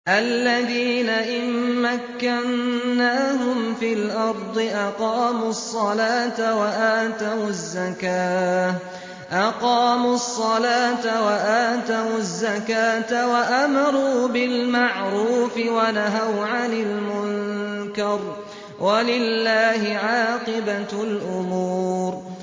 الَّذِينَ إِن مَّكَّنَّاهُمْ فِي الْأَرْضِ أَقَامُوا الصَّلَاةَ وَآتَوُا الزَّكَاةَ وَأَمَرُوا بِالْمَعْرُوفِ وَنَهَوْا عَنِ الْمُنكَرِ ۗ وَلِلَّهِ عَاقِبَةُ الْأُمُورِ